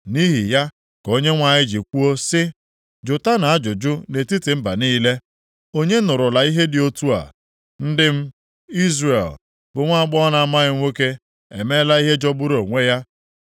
Nʼihi ya ka Onyenwe anyị ji kwuo sị, “Jụtanụ ajụjụ nʼetiti mba niile, onye nụrụla ihe dị otu a? Ndị m, Izrel, bụ nwaagbọghọ na-amaghị nwoke emeela ihe jọgburu onwe ya.